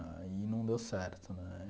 Aí não deu certo, né?